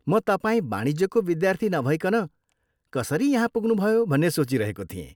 म तपाईँ वाणिज्यको विद्यार्थी नभइकन कसरी यहाँ पुग्नुभयो भन्ने सोचिरहेको थिएँ।